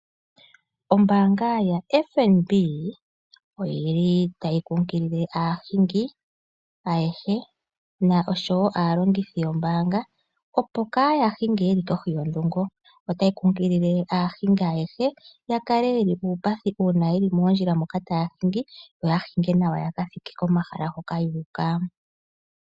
Ombaanga yaFNB oyili tayi nkunkilile aahingi ayehe osho woo aalongithi yombaanga opo kaayahinge yeli kohi yodhungo, otayi kunkilile aahingi ayehe yakale yili muupathi uuna yeli moondjila moka taya hingi, yo yakathike nawa komahala hoka yuuka.